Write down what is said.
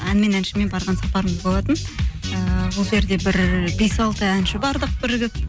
ән мен әншімен барған сапарымыз болатын ыыы ол жерде бір бес алты әнші бардық бірігіп